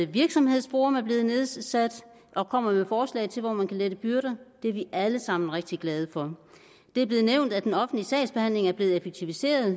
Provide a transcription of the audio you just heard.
virksomhedsforum er blevet nedsat og kommer med forslag til hvor man kan lette byrder og det er vi alle sammen rigtig glade for det er blevet nævnt at den offentlige sagsbehandling er blevet effektiviseret